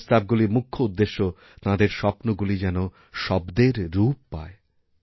এইপ্রস্তাবগুলির মুখ্য উদ্দেশ্য তাঁদের স্বপ্নগুলি যেন শব্দের রূপ পায়